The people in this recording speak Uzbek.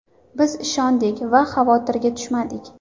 Biz ishondik va xavotirga tushmadik.